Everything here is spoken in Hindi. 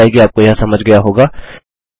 आशा है कि आपको यह समझ गया होगा